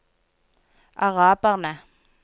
araberne